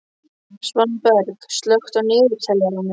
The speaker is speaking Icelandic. Svanberg, slökktu á niðurteljaranum.